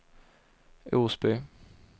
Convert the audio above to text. Osby